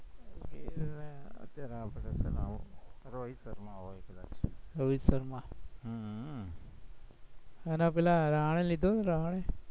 ઈ રોહિત શર્મા હોય કદાચ, રોહિત શર્મા હમ